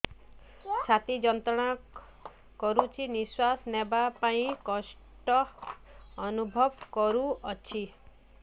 ଛାତି ଯନ୍ତ୍ରଣା କରୁଛି ନିଶ୍ୱାସ ନେବାରେ କଷ୍ଟ ଅନୁଭବ କରୁଛି